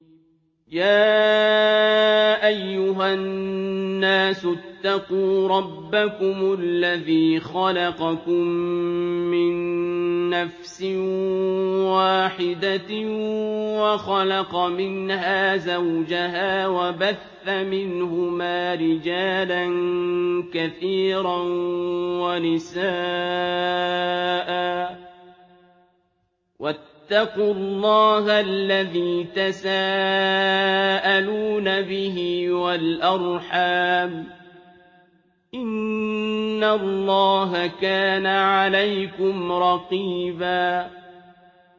يَا أَيُّهَا النَّاسُ اتَّقُوا رَبَّكُمُ الَّذِي خَلَقَكُم مِّن نَّفْسٍ وَاحِدَةٍ وَخَلَقَ مِنْهَا زَوْجَهَا وَبَثَّ مِنْهُمَا رِجَالًا كَثِيرًا وَنِسَاءً ۚ وَاتَّقُوا اللَّهَ الَّذِي تَسَاءَلُونَ بِهِ وَالْأَرْحَامَ ۚ إِنَّ اللَّهَ كَانَ عَلَيْكُمْ رَقِيبًا